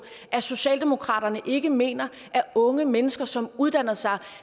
at socialdemokratiet ikke mener at unge mennesker som uddanner sig